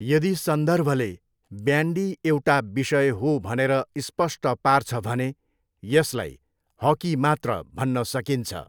यदि सन्दर्भले ब्यान्डी एउटा विषय हो भनेर स्पष्ट पार्छ भने, यसलाई हकी मात्र भन्न सकिन्छ।